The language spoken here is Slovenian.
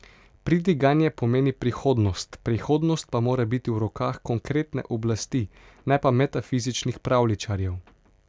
Pridiganje pomeni prihodnost, prihodnost pa mora biti v rokah konkretne oblasti, ne pa metafizičnih pravljičarjev.